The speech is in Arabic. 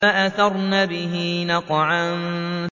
فَأَثَرْنَ بِهِ نَقْعًا